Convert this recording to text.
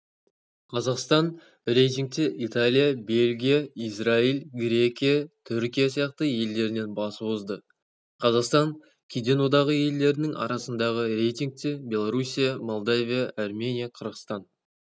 қазақстан рейтингте италия бельгия израиль грекия түркия сияқты елдерінен басып озды қазақстан кеден одағы елдерінің арасындағы рейтингте белоруссия молдавия армения қырғызстан